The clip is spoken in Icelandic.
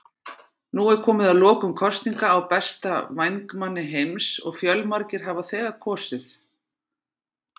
Nú er komið að lokum kosninga á besta vængmanni heims og fjölmargir hafa þegar kosið.